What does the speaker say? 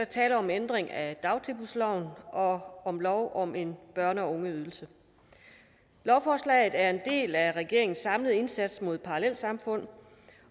tale om en ændring af dagtilbudsloven og om lov om en børne og ungeydelse lovforslaget er en del af regeringens samlede indsats mod parallelsamfund